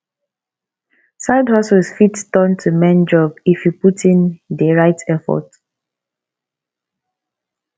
sidehustles fit turn to main job if you put in di right effort